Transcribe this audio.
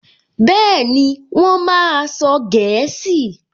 Bẹ́ẹ̀ni, Wọ́n máa sọ gẹ̀ẹ́sì